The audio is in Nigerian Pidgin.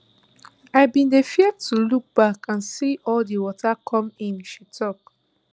i bin dey fear to look back and see all di water come in she tok